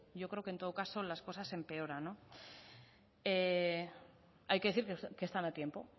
yo creo que en todo caso las cosas empeoran hay que decir que están a tiempo